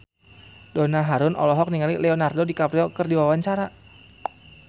Donna Harun olohok ningali Leonardo DiCaprio keur diwawancara